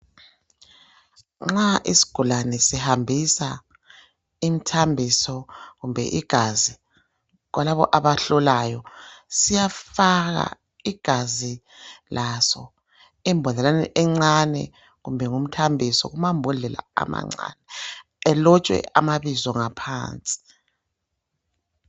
Nxa isigulane sihambisa imthambiso kumbe igazi kulabo abahlolayo, siyafaka igazi laso embodleleni encane kumbe ngumthambiso kumambodlela amancane. Elotshwe amabizo ngaphansi